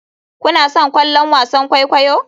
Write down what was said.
Kuna son kallon wasan kwaikwayo?